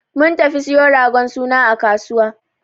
Mun tafi siyo ragon suna a kasuwa.